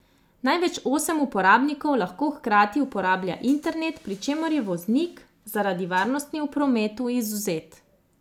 Največ osem uporabnikov lahko hkrati uporabljala internet, pri čemer je voznik zaradi varnosti v prometu izvzet.